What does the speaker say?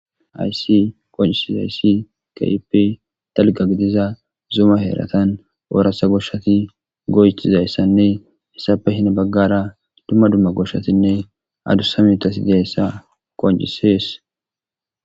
ayssi qoncisis hayssi kaip dalga gidiza zuma heeratan oorasa goshshati goycizayssanne hissape hina baggara dumma dumma goshshatinne adussa mutasi deessa qoncisees